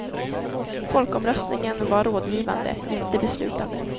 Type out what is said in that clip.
Folkomröstningen var rådgivande, inte beslutande.